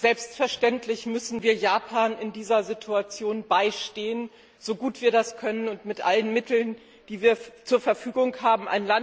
Selbstverständlich müssen wir Japan in dieser Situation beistehen, so gut wir das können und mit allen Mitteln, die wir zur Verfügung haben.